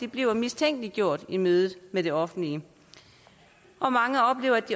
blive mistænkeliggjort i mødet med det offentlige og mange oplever at